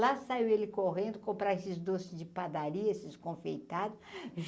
Lá saiu ele correndo, comprar esses doces de padaria, esses confeitado.